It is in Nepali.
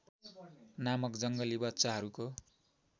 नामक जङ्गली बच्चाहरूको